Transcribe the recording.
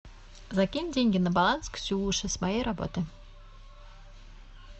закинь деньги на баланс ксюше с моей работы